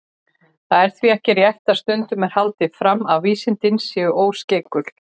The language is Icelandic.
Það er því ekki rétt, sem stundum er haldið fram, að vísindin séu óskeikul.